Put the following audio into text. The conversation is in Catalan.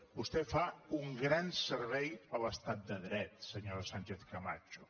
vostè fa un gran servei a l’estat de dret senyora sánchez camacho